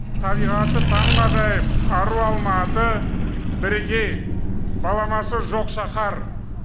табиғаты таңғажайып ару алматы бірегей баламасы жоқ шаһар